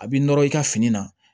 A b'i nɔrɔ i ka fini na